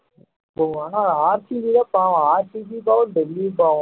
உம் ஆனா RCB தான் பாவம் RCB யும் பாவம் டெல்லியும் பாவம்